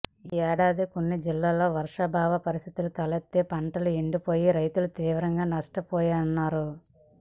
ఈ ఏడాది కొన్ని జిల్లాల్లో వర్షాభావ పరిస్థితులు తలెత్తి పంటలు ఎండిపోయి రైతులు తీవ్రంగా నష్టపోయారన్నారు